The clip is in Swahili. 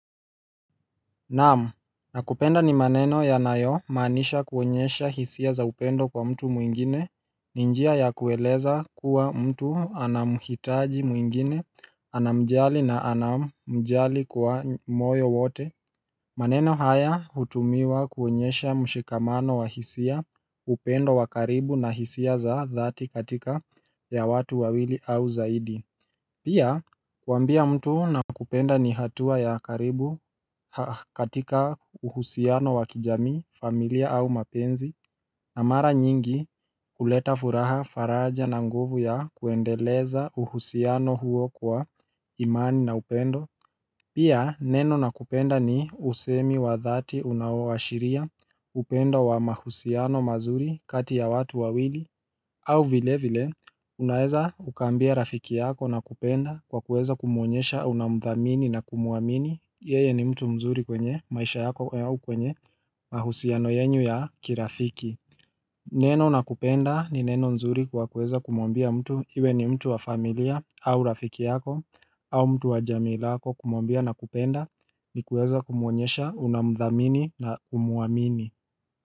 Naam nakupenda ni maneno yanayomaanisha kuonyesha hisia za upendo kwa mtu mwengine ni njia ya kueleza kuwa mtu anamhitaji mwengine, anamjali na anamjali kwa moyo wote maneno haya hutumiwa kuonyesha mshikamano wa hisia upendo wa karibu na hisia za dhati katika ya watu wawili au zaidi Pia kuambia mtu nakupenda ni hatua ya karibu katika uhusiano wa kijamii, familia au mapenzi na mara nyingi kuleta furaha faraja na nguvu ya kuendeleza uhusiano huo kwa imani na upendo Pia neno nakupenda ni usemi wa dhati unaoashiria upendo wa mahusiano mazuri kati ya watu wawili au vile vile, unaeza ukaambia rafiki yako nakupenda kwa kuweza kumuonyesha unamthamini na kumuamini yeye ni mtu mzuri kwenye maisha yako au kwenye mahusiano yenyu ya kirafiki Neno nakupenda ni neno mzuri kwa kuweza kumuambia mtu Iwe ni mtu wa familia au rafiki yako au mtu wa jamii lako kumuambia nakupenda ni kuweza kumuonyesha unamthamini na kumuamini.